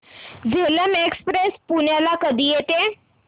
Jhelum express पुण्याला कधी येते